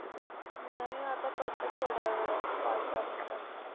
नाही आता करते थोड्या वेळात पाच दहा मिनिटात.